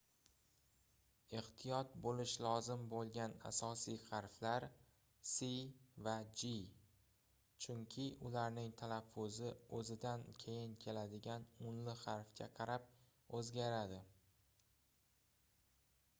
ehtiyot boʻlish lozim boʻlgan asosiy harflar c va g chunki ularning talaffuzi oʻzidan keyin keladigan unli harfga qarab oʻzgaradi